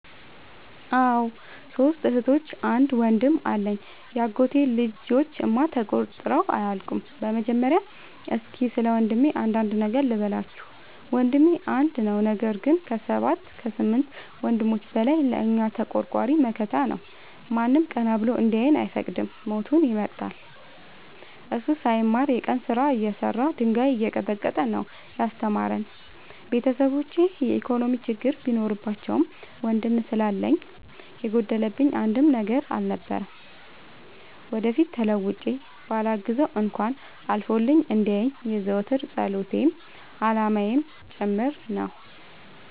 አዎ ሶስት እህቶች አንድ ወንድም አለኝ የአጎቴ ልጆች እማ ተቆጥረው አያልቁም። በመጀመሪያ እስኪ ስለወንድሜ አንዳንድ ነገር ልበላችሁ። ወንድሜ አንድ ነው ነገር ግን አሰባት ከስምንት ወንድሞች በላይ ለእኛ ተቆርቋሪ መከታ ነው። ማንም ቀና ብሎ እንዲያየን አይፈቅድም ሞቱን ይመርጣል። እሱ ሳይማር የቀን ስራ እየሰራ ድንጋይ እየቀጠቀጠ ነው። ያስተማረን ቤተሰቦቼ የኢኮኖሚ ችግር ቢኖርባቸውም ወንድም ስላለኝ የጎደለብኝ አንድም ነገር አልነበረም። ወደፊት ተለውጬ በላግዘው እንኳን አልፎልኝ እንዲየኝ የዘወትር ፀሎቴ አላማዬም ጭምር ነው።